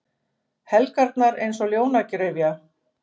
Helgarnar eins og ljónagryfja.